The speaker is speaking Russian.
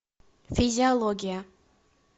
физиология